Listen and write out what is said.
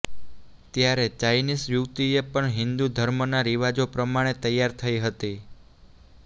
ત્યારે ચાઈનીસ યુવતીએ પણ હિન્દુ ધર્મના રિવાજો પ્રમાણે તૈયાર થઈ હતી